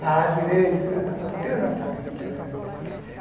Falava direito, filha da puta, eu não sabia o que era.